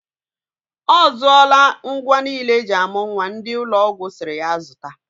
Ọzụọla ngwa niile eji amụ nwa ndị ụlọ ọgwụ sịrị ya zụta.